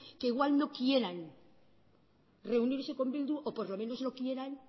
que igual no quieran reunirse con bildu o por lo menos no quieran